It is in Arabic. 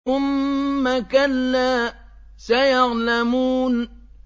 ثُمَّ كَلَّا سَيَعْلَمُونَ